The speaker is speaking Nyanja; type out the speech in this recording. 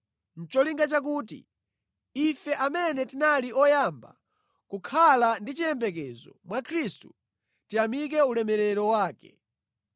nʼcholinga chakuti, ife amene tinali oyamba kukhala ndi chiyembekezo mwa Khristu, tiyamike ulemerero wake.